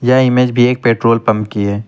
यह इमेज भी एक पेट्रोल पंप की है।